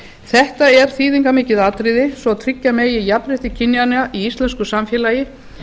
þetta er þýðingarmikið atriði svo tryggja megi jafnrétti kynjanna í íslensku samfélagi